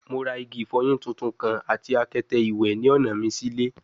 Mo ra igi ifoyin tuntun kan ati akete iwẹ ni ọna mi si ile